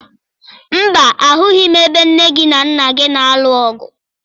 Mba, ahụghị m ebe nne gị na nna gị na-alụ ọgụ